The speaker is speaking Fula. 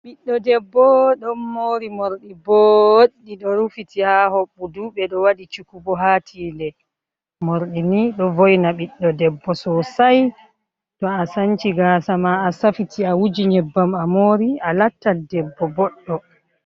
Ɓiɗɗo debbo ɗon mori morɗi boɗɗi ɗo rufiti ha hoɓɓudu ɓe ɗo waɗi cukubo haa tide. Morɗi nii ɗo voina ɓiɗɗo debbo sosai, to a sanci gasa ma a safiti a wuji nyebbam a mori a lattan debbo boɗɗo.